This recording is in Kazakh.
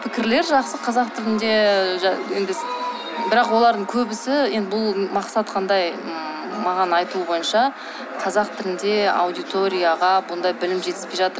пікірлер жақсы қазақ тілінде бірақ олардың көбісі енді бұл мақсат қандай ммм маған айтуы бойынша қазақ тілінде аудиторияға бұндай білім жетіспей жатыр